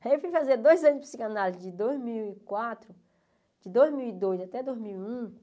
Aí eu fui fazer dois anos de psicanálise, de dois mil e quatro, de dois mil e dois até dois mil e um,